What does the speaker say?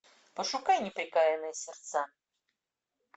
пошукай неприкаянные сердца